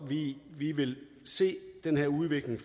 vi vil se den her udvikling